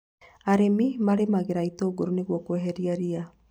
Arĩmi marĩmagĩra itũngũrũ nĩguo kweheria ria